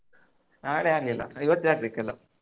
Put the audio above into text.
ನಾಳೆ ಆಗ್ಲಿಲ್ಲ ಇವತ್ತೇ ಆಗ್ಬೇಕ್ ಎಲ್ಲಾ.